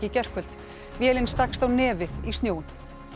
í gærkvöld vélin stakkst á nefið í snjóinn